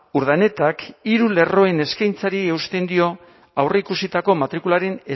urdanetak hiru lerroen eskaintzari eusten dio aurreikusitako matrikularen